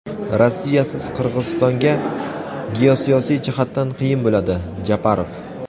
Rossiyasiz Qirg‘izistonga geosiyosiy jihatdan qiyin bo‘ladi – Japarov.